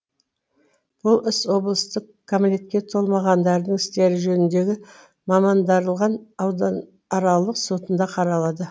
бұл іс облыстық кәмелетке толмағандардың істері жөніндегі мамандандырылған аудан аралық сотында қаралды